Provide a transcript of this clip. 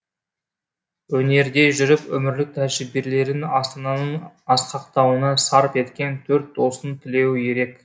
өнерде жүріп өмірлік тәжірибелерін астананың асқақтауына сарп еткен төрт достың тілеуі ерек